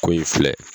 Ko in filɛ